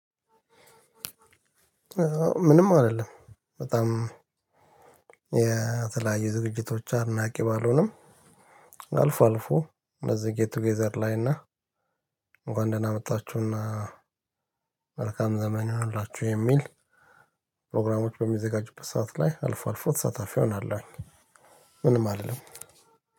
ምንም አልልም በጣም የ ተለያዩ ዝግጅቶች አድናቂ ባልሆኑም አልፎ አልፎ እነዚህ ጌት ቱጌዘር ላይ እና አልፎ አልፎ እነዚህ ጌት ቱጌዘር ላይ እና ፕሮግራሞች በሚዘጋጁበት ሰዓት ላይ አልፎ አልፎ ተሳታፊ እሆናለሁ። ምንም አልልም።